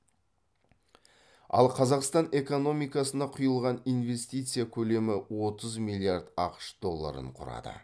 ал қазақстан экономикасына құйылған инвестиция көлемі отыз миллиард ақш долларын құрады